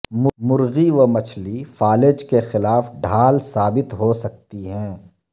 مرغی و مچھلی فالج کے خلاف ڈھال ثابت ہو سکتی ہیں